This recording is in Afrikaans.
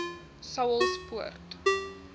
saulspoort